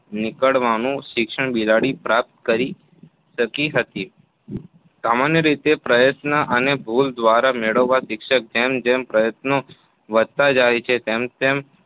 નીકળવાનું શિક્ષણ બિલાડી પ્રાપ્ત કરી શકી હતી. સામાન્ય રીતે પ્રયત્ન અને ભૂલ દ્વારા મેળવાતા શિક્ષણમાં જેમ જેમ પ્રયત્નો વધતા જાય તેમ તેમ